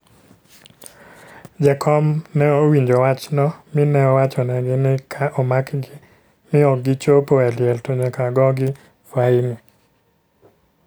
Jakom ne owinjo wachno mi ne owachonegi ni ka omakgi mi ok gichopo e liel to nyaka gogi faini.